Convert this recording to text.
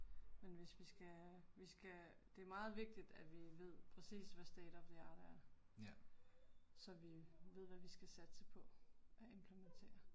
Men hvis vi skal vi skal det er meget vigtigt at vi ved præcis hvad state of the art er, så vi ved hvad vi skal satse på at implementere